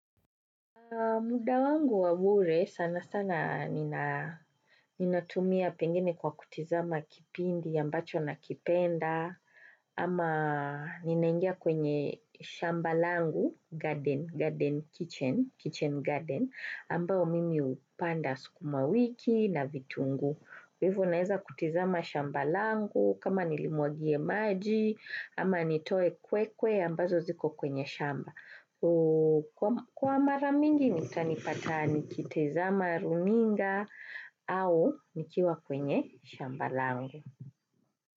Muda wangu wabure sana sana ninatumia pengine kwa kutizama kipindi ambacho nakipenda ama ninaingia kwenye shamba langu garden kitchen ambao mimi upanda sukuma wiki na vitungu. Hivo naeza kutizama shambalangu kama nilimuagie maji ama nitoe kwekwe ambazo ziko kwenye shamba. Kwa maramingi nitani pata nikitizama runinga au nikiwa kwenye shamba langu.